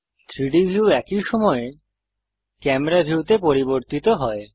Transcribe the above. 3ডি ভিউ একই সময়ে ক্যামেরা ভিউতে পরিবর্তিত হয়